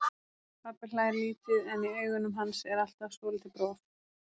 Pabbi hlær lítið en í augunum hans er alltaf svolítið bros.